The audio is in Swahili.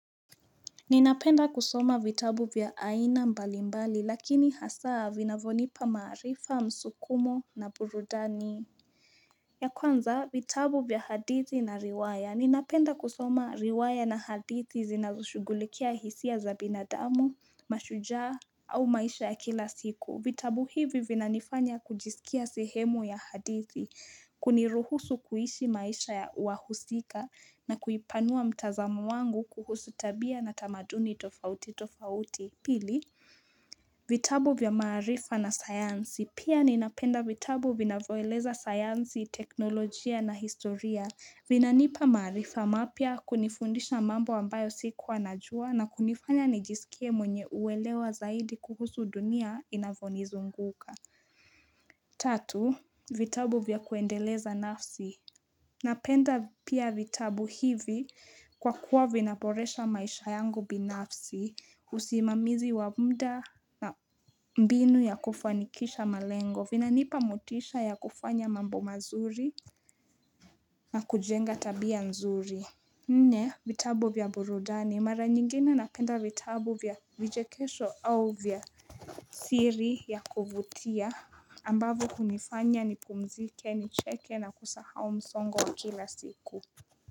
Ninapenda kusoma vitabu vya aina mbali mbali lakini hasa vinavyonipa maarifa msukumo na burudani. Ya kwanza, vitabu vya hadithi na riwaya. Ninapenda kusoma riwaya na hadithi zinazoshugulikia hisia za binadamu, mashujaa au maisha ya kila siku. Vitabu hivi vina nifanya kujisikia sehemu ya hadithi, kuniruhusu kuishi maisha ya wahusika na kuipanua mtazamo wangu kuhusu tabia na tamaduni tofauti tofauti. Pili, vitabu vya maarifa na sayansi. Pia ninapenda vitabu vinavyoeleza sayansi, teknolojia na historia. Vinanipa maarifa mapya kunifundisha mambo ambayo sikua najua na kunifanya nijisikie mwenye uelewa zaidi kuhusu dunia inavyonizunguka. Tatu, vitabu vya kuendeleza nafsi. Napenda pia vitabu hivi kwa kuwa vinaboresha maisha yangu binafsi usimamizi wa muda na mbinu ya kufanikisha malengo vinanipa motisha ya kufanya mambo mazuri na kujenga tabia nzuri. Nne vitabu vya burudani mara nyingine napenda vitabu vya vichekesho au vya siri yakuvutia ambavyo hunifanya nipumzike nicheke na kusahau msongo kila siku.